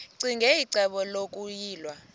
ccinge icebo lokuyilwa